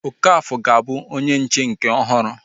Okafor ga-abụ onye nche nke ọhụrụ